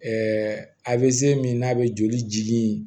a bɛ min n'a bɛ joli jili in